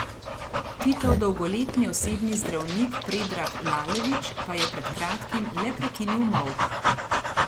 Titov dolgoletni osebni zdravnik Predrag Lalević pa je pred kratkim le prekinil molk.